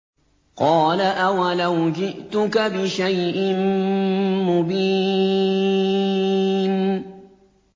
قَالَ أَوَلَوْ جِئْتُكَ بِشَيْءٍ مُّبِينٍ